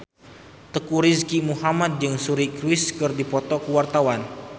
Teuku Rizky Muhammad jeung Suri Cruise keur dipoto ku wartawan